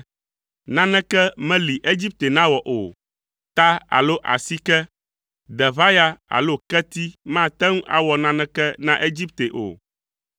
Naneke meli Egipte nawɔ o, ta alo asike, deʋaya alo keti mate ŋu awɔ naneke na Egipte o.